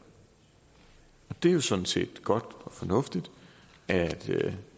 det er jo sådan set godt og fornuftigt at